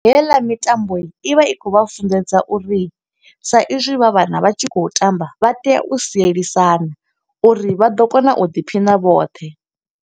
Heiḽa mitambo i vha i khou vha funḓedza uri, sa i zwi vha vhana vha tshi khou tamba vha tea u sielisana, uri vha ḓo kona u ḓiphina vhoṱhe.